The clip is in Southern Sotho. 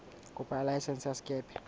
kopo ya laesense ya sekepe